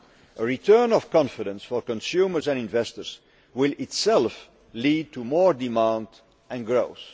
A return of confidence for consumers and investors will itself lead to more demand and growth.